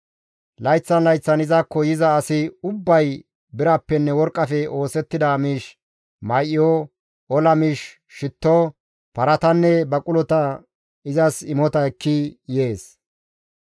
Layththan layththan izakko yiza asi ubbay birappenne worqqafe oosettida miish, may7o, ola miish, shitto, paratanne baqulota izas imota ekki yees.